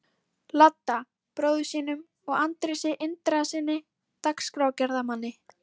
Ladda, bróður sínum, og Andrési Indriðasyni dagskrárgerðarmanni.